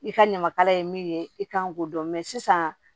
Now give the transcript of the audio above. I ka ɲamakala ye min ye i kan k'o dɔn sisan